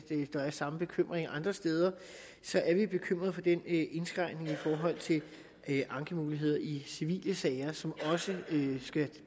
der er samme bekymring andre steder bekymret for den indskrænkning i forhold til ankemuligheder i civile sager som også skal